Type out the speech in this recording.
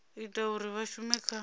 ita uri vha shume kha